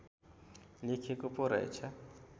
लेखिएको पो रहेछ